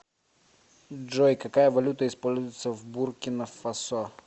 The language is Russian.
джой какая валюта используется в буркина фасо